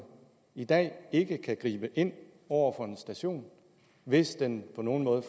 i dag ikke kan gribe ind over for en station hvis den på nogen måde